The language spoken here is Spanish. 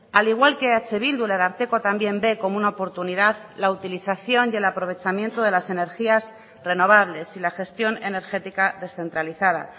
al igual que eh bildu el ararteko también ve como una oportunidad la utilización y el aprovechamiento de las energías renovables y la gestión energética descentralizada